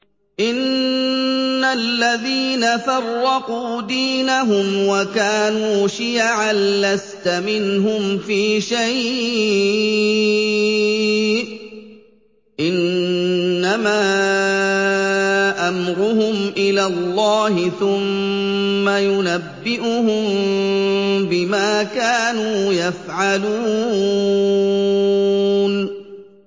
إِنَّ الَّذِينَ فَرَّقُوا دِينَهُمْ وَكَانُوا شِيَعًا لَّسْتَ مِنْهُمْ فِي شَيْءٍ ۚ إِنَّمَا أَمْرُهُمْ إِلَى اللَّهِ ثُمَّ يُنَبِّئُهُم بِمَا كَانُوا يَفْعَلُونَ